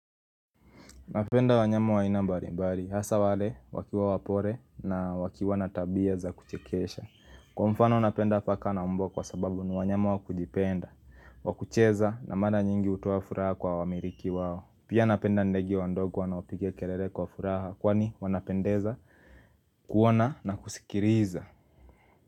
Napenda wanyama wa aina mbali mbali, hasa wale wakiwa wapore na wakiwa na tabia za kuchekesha Kwa mfano napenda paka na mbwa kwa sababu ni wanyama wa kujipenda wa kucheza na mara nyingi hutoa furaha kwa wamiriki wao Pia napenda ndege wa ndogo wanaopiga kerere kwa furaha kwani wanapendeza kuona na kusikiriza.